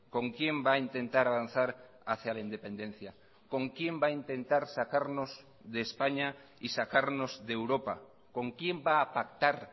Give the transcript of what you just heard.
con quién va a intentar avanzar hacia la independencia con quién va a intentar sacarnos de españa y sacarnos de europa con quién va a pactar